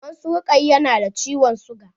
Maman su Rukaya na da ciwon siga.